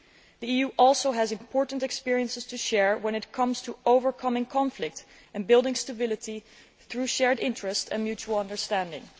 The EU also has important experiences to share when it comes to overcoming conflict and building stability through shared interests and mutual understanding.